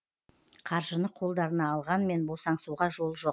қаржыны қолдарына алғанмен босаңсуға жол жоқ